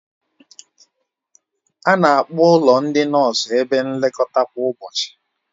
A na-akpọkwa ụlọ ndị nọọsụ ebe nlekọta kwa ụbọchị